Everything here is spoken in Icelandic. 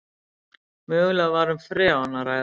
Mögulega var um freon að ræða